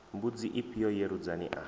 mbudzi ifhio ye rudzani a